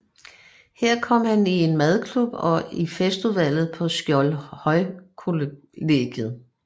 Her kom han i en madklub og i festudvalget på Skjoldhøjkollegiet